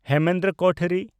Hemendra Kothari